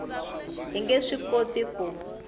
hi nge swi koti ku